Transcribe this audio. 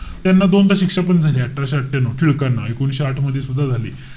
त्यांना दोनदा शिक्षापण झाली. अठराशे अठ्ठयानऊ, टिळकांना. एकोणीशे आठ मध्ये सुद्धा झाली.